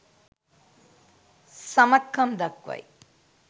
සමත් කම් දක්වයි.